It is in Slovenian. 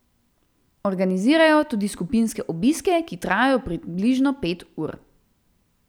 Organizirajo tudi skupinske obiske, ki trajajo približno pet ur.